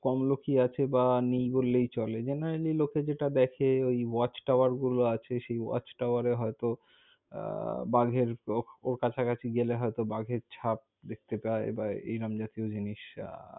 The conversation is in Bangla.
কম লোকই আছে বা নেই বললেই চলে। generally লোকে যেটা দেখে, ঐ watch tower গুলো আছে। সেই watch tower হয়তো আহ বাঘের ওর কাছাকাছি গেলে হয়ত বাঘের ছাপ দেখতে পায়, বা এইরম জাতিও জিনিস। আহ